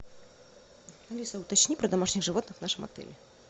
алиса уточни про домашних животных в нашем отеле